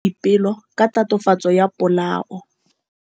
Maphodisa a tshwere Boipelo ka tatofatsô ya polaô.